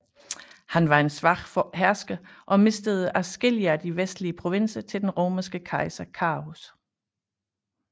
Han var en svag hersker og mistede adskillige af de vestlige provinser til den romerske kejser Carus